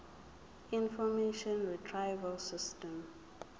information retrieval system